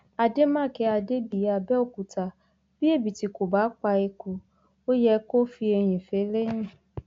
àdèmàkè adébíyí àbẹòkúta bí ẹbìtì kò bá pa eku ó yẹ kó fi eyín fẹlẹyìn